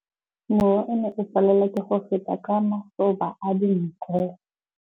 Mowa o ne o palelwa ke go feta ka masoba a dinko.